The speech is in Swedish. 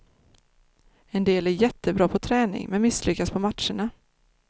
En del är jättebra på träning, men misslyckas på matcherna.